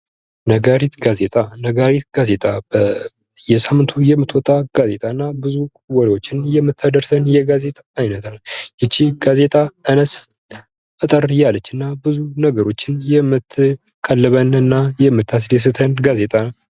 ነጋሪት ጋዜጣ። ነጋሪት ጋዜጣ በየሳምንቱ የምትወጣ ጋዜጣ እና ብዙ ወሬዎችን የምታደርሰን የጋዜጣ አይነት ናት ።ይህችም ጋዜጣ አነስ አጠር ያለች እና ብዙ ነገሮችን የምትቀልበን እና የምታስደስተን ጋዜጣ ።